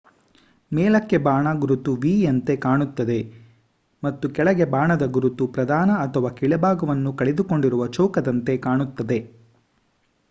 ಮೇಲಕ್ಕೆ ಬಾಣ ಗುರುತು v ಯಂತೆ ಕಾಣುತ್ತದೆ ಮತ್ತು ಕೆಳಗೆ ಬಾಣದ ಗುರುತು ಪ್ರಧಾನ ಅಥವಾ ಕೆಳಭಾಗವನ್ನು ಕಳೆದುಕೊಂಡಿರುವ ಚೌಕದಂತೆ ಕಾಣುತ್ತದೆ